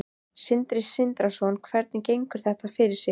Sindri Sindrason: Hvernig gengur þetta fyrir sig?